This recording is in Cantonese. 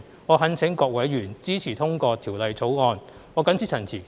我懇請各位委員支持通過《條例草案》。